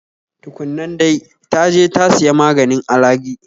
Tu kun nan dai, ta je ta siya maganin alagi